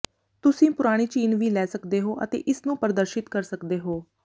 ਤੁਸੀਂ ਪੁਰਾਣੀ ਚੀਨ ਵੀ ਲੈ ਸਕਦੇ ਹੋ ਅਤੇ ਇਸਨੂੰ ਪ੍ਰਦਰਸ਼ਿਤ ਕਰ ਸਕਦੇ ਹੋ